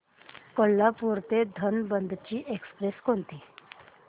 कोल्हापूर ते धनबाद ची एक्स्प्रेस कोणती